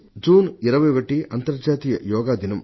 June 21 అంతర్రాష్ట్రీయ యోగా దినం